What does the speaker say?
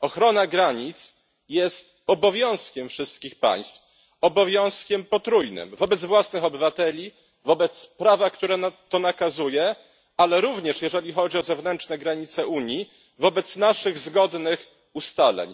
Ochrona granic jest obowiązkiem wszystkich państw, obowiązkiem potrójnym wobec własnych obywateli, wobec prawa, które to nakazuje, ale również jeżeli chodzi o zewnętrzne granice Unii wobec naszych zgodnych ustaleń.